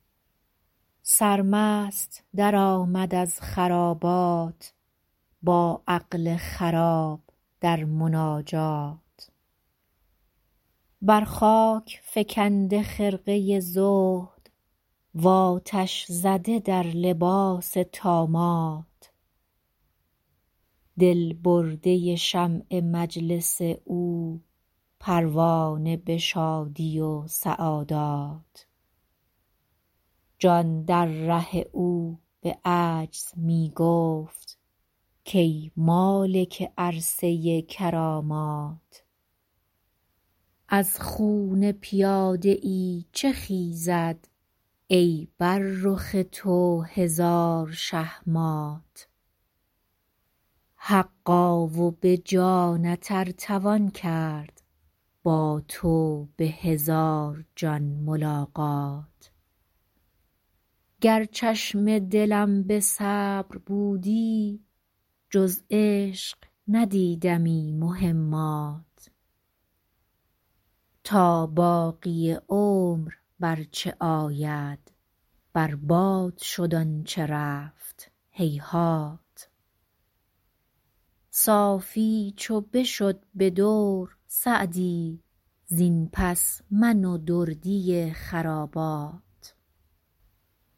سرمست درآمد از خرابات با عقل خراب در مناجات بر خاک فکنده خرقه زهد و آتش زده در لباس طامات دل برده شمع مجلس او پروانه به شادی و سعادات جان در ره او به عجز می گفت کای مالک عرصه کرامات از خون پیاده ای چه خیزد ای بر رخ تو هزار شه مات حقا و به جانت ار توان کرد با تو به هزار جان ملاقات گر چشم دلم به صبر بودی جز عشق ندیدمی مهمات تا باقی عمر بر چه آید بر باد شد آن چه رفت هیهات صافی چو بشد به دور سعدی زین پس من و دردی خرابات